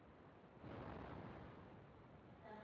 En stenst þetta?